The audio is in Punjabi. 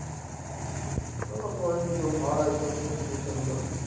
ਉਹ ਕੋਈ ਨੀ ਜੋ ਮਹਾਰਾਜ ਕਰੂਗਾ ਠੀਕ ਕਰੂਗਾ।